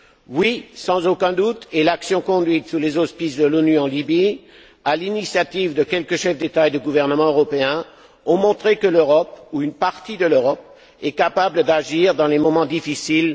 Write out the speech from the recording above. Oui, sans aucun doute, et l'action conduite sous les auspices de l'ONU en Libye, à l'initiative de quelques chefs d'État et de gouvernement européens, a montré que, quand elle veut, l'Europe, ou une partie de l'Europe, est capable d'agir dans les moments difficiles.